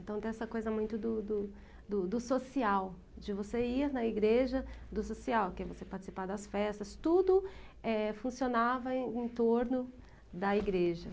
Então, tem essa coisa muito do do do do social, de você ir na igreja, do social, que é você participar das festas, tudo, eh, funcionava em torno da igreja.